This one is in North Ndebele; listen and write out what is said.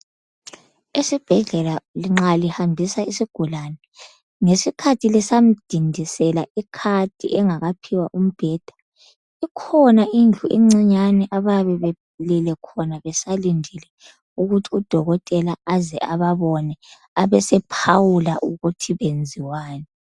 Esibhedlela nxa lihambisa isigulane ngesikhathi lisamdindisela icard engakaphiwa umbheda ikhona indlu encinyane abayabe belele khona besalindile ukuthi udokotela aze ababone abesephawula ukuthi benziwani.